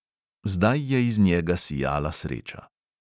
Zdaj je iz njega sijala sreča.